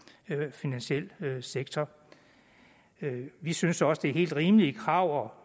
finansiel sektor vi synes da også at det er helt rimelige krav